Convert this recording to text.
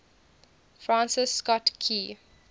francis scott key